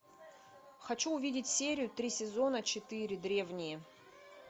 хочу увидеть серию три сезона четыре древние